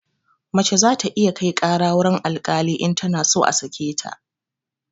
Mace za ta iya kai ƙara wurin alkali in tana so a sake ta